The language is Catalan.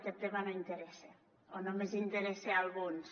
aquest tema no interessa o només interessa a alguns